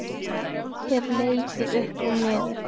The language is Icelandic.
Hef leikið upp og niður.